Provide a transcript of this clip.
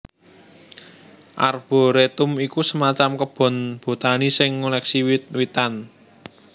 Arboretum iku semacam kebun botani sing ngoleksi wiwitan